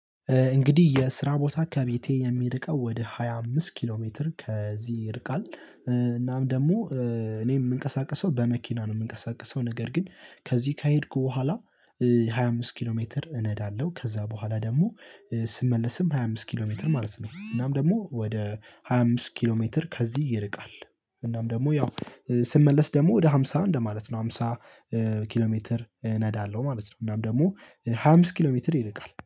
እንግዲህ የስራ ቦታ ከቤቴ የሚርቀው ወደ ሃያ አምስት ኪሎ ሜትር ከዚህ ይርቃል እናም ደግሞ እኔ የምንቀሳቅሰው በመኪና ነው የምንቀሳቅሰው ነገር ግን ከዚህ ከሄድኩ በኋላ ሃያ አምስት ኪሎ ሜትር እነዳለሁ ከዛ በኋላ ደግሞ ስመለስም ሃያ አምስት ኪሎ ሜትር ማለት ነው። እናም ደግሞ ወደ ሃያ አምስት ኪሎ ሜትር ከዚህ ይርቃል። እናም ደግሞ ያው ስመለስ ደግሞ ወደ ሃምሳ እንደማለት ነው ሃምሳ ኪሎ ሜትር እነዳለሁ ማለት ነው። እናም ደግሞ ሃያ አምስት ኪሎ ሜትር ይርቃል